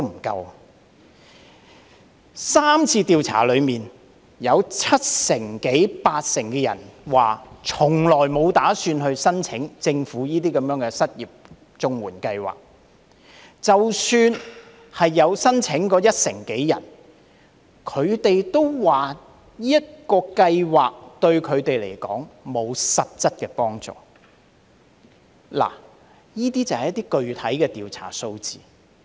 在3次調查當中，有七成至八成人表示從沒打算申請政府的失業綜援計劃，而即使是有申請的約一成人，他們也說計劃對他們並沒有實質幫助，這便是一些具體的調查數字。